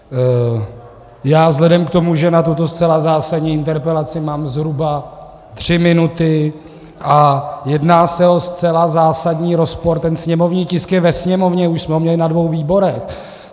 Já vzhledem k tomu, že na tuto zcela zásadní interpelaci mám zhruba tři minuty a jedná se o zcela zásadní rozpor, ten sněmovní tisk je ve Sněmovně, už jsme ho měli na dvou výborech.